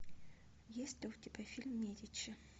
есть ли у тебя фильм медичи